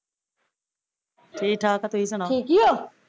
ਠੀਕ ਠਾਕ ਆ ਤੁਸੀਂ ਸੁਣਾਓ